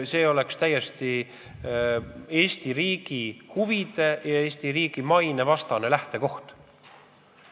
See oleks täiesti Eesti riigi huvide ja Eesti riigi maine vastane lähtekoht.